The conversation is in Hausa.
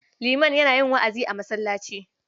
Liman yana wa'azi a masallaci.